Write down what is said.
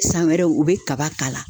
San wɛrɛw u be kaba k'ala